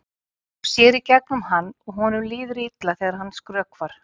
Hún sér í gegnum hann og honum líður illa þegar hann skrökvar.